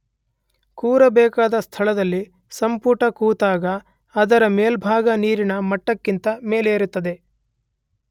ಕೂರಬೇಕಾದ ಸ್ಥಳದಲ್ಲಿ ಸಂಪುಟ ಕೂತಾಗ ಅದರ ಮೇಲ್ಭಾಗ ನೀರಿನ ಮಟ್ಟಕ್ಕಿಂತ ಮೇಲಿರುತ್ತದೆ.